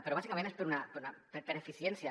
però bàsicament és per eficiència